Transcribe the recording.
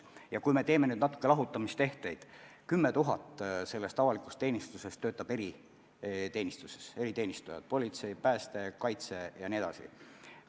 Ja kui me nüüd teeme natukene lahutamistehteid, siis 10 000 sellest avalikust teenistusest töötab eriteenistustes – politsei, pääste, kaitse jne.